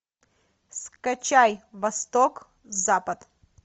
скачай восток запад